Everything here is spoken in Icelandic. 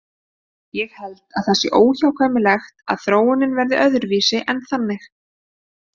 Ég held að það sé óhjákvæmilegt að þróunin verði öðruvísi en þannig.